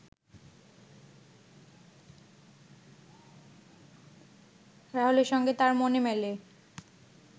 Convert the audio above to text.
রাহুলের সঙ্গে তার মনে মেলে